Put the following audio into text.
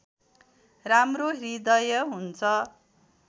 राम्रो हृदय हुन्छ